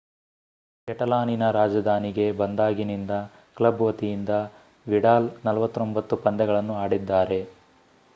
ಕೆಟಲಾನಿನ ರಾಜಧಾನಿಗೆ ಬಂದಾಗಿನಿಂದ ಕ್ಲಬ್ ವತಿಯಿಂದ ವಿಡಾಲ್ 49 ಪಂದ್ಯಗಳನ್ನು ಆಡಿದ್ದಾರೆ